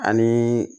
Ani